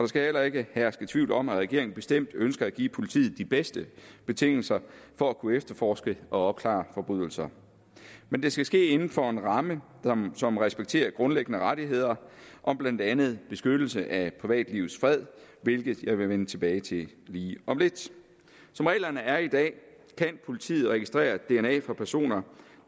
skal heller ikke herske tvivl om at regeringen bestemt ønsker at give politiet de bedste betingelser for at kunne efterforske og opklare forbrydelser men det skal ske inden for en ramme som respekterer grundlæggende rettigheder om blandt andet beskyttelse af privatlivets fred hvilket jeg vil vende tilbage til lige om lidt som reglerne er i dag kan politiet registrere dna fra personer